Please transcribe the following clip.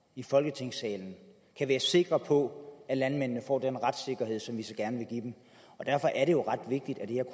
i folketingssalen kan være sikre på at landmændene får den retssikkerhed som vi så gerne vil give dem derfor er det jo ret vigtigt at det her